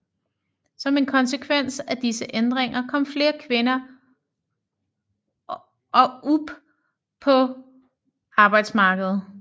Som en konsekvens af disse ændringer kom flere kvinder up på arbejdsmarkedet